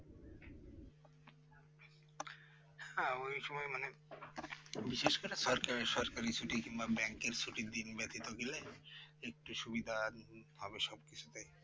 হ্যাঁ ওই সময় মানে বিশেষ করে সরকারি সরকারি ছুটি কিংবা Bank এর ছুটির দিন ব্যতীত গেলে একটু সুবিধা হবে সবকিছু